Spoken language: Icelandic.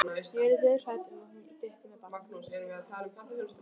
Ég yrði dauðhrædd um að hún dytti með barnið.